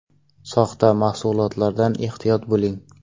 Soxta mahsulotlardan ehtiyot bo‘ling!!!